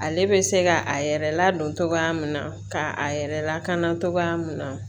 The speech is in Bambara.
Ale bɛ se ka a yɛrɛ ladon cogoya min na ka a yɛrɛ lakana cogoya min na